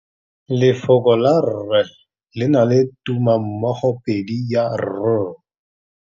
Lefoko la rre le na le tumammogôpedi ya, r.